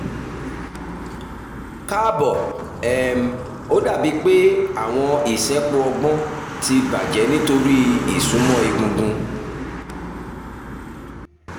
kaabo um o dabi pe awọn isẹpo ọgbọn ti bajẹ nitori isunmọ egungun